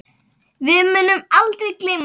Við munum aldrei gleyma þessu.